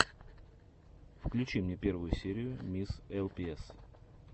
включи мне первую серию мисс элпиэс